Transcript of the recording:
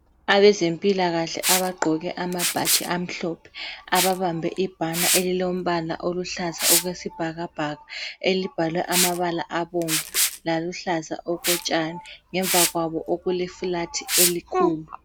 Abezempilakahle abagqoke amabhatshi amhlophe, ababambe ibhana elilombala oluhlaza okwesibhakabhaka elibhalwe amabala abomvu laluhlaza okotshani ngemva kwabo okule flat elikhulu.